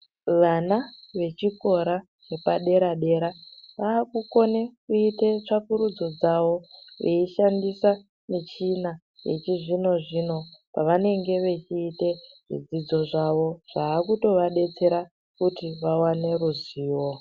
Vana vechikora chepadera dera vakukone kuite tsvakurudzo dzavo veyishandisa michina yechizvinozvino pavanenge vechiite zvidzidzo zvavo zvakutovabetsera kuti vawane ruzivo.